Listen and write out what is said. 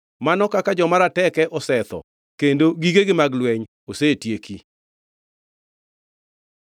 “Mano kaka joma rateke osetho! Kendo gigegi mag lweny osetieki!”